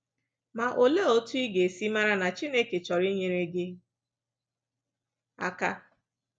Ma olee otu ị ga-esi mara na Chineke chọrọ inyere gị aka?